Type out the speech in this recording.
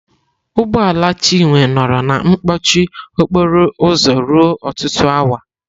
Ụgbọ ala Chinwe nọrọ na mkpọchị okporo ụzọ ruo ọtụtụ awa.